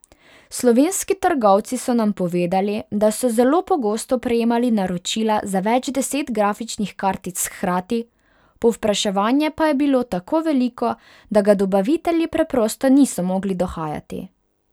Slovenski trgovci so nam povedali, da so zelo pogosto prejemali naročila za več deset grafičnih kartic hkrati, povpraševanje pa je bilo tako veliko, da ga dobavitelji preprosto niso mogli dohajati.